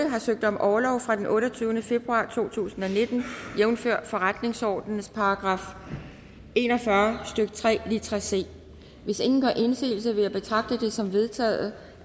har søgt om orlov fra den otteogtyvende februar to tusind og nitten jævnfør forretningsordens § en og fyrre stykke tre litra c hvis ingen gør indsigelse vil jeg betragte det som vedtaget